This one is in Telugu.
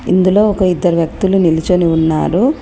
ఇందులో ఒక ఇద్దరు వ్యక్తులు నిల్చొని ఉన్నారు.